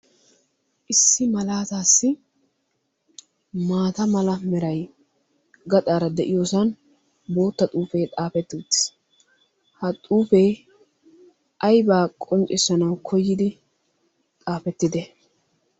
Issi malaataassi maata mala meray gaxaara de'iyosan bootta xuufee xaafetti uttiis. Ha xuufee aybaa qonccissanawu koyidi xaafettidee?